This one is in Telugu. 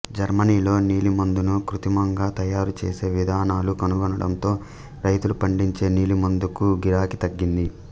జర్మనీలో నీలిమందును కృత్రిమంగా తయారు చేసే విధానాలు కనుగొనడంతో రైతులు పండించే నీలిమందుకు గిరాకీ తగ్గింది